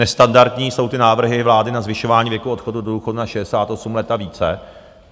Nestandardní jsou ty návrhy vlády na zvyšování věku odchodu do důchodu na 68 let a více.